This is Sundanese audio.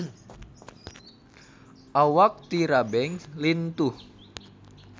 Awak Tyra Banks lintuh